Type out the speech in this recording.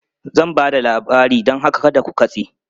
Zan ba da labari don haka kada ku katse!